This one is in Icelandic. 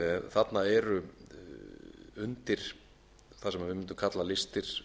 þarna eru undir það sem við mundum kalla listir